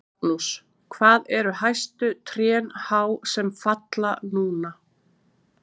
Magnús: Hvað eru hæstu trén há sem falla núna?